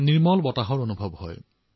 সতেজ বতাহৰ অনুভৱ হয়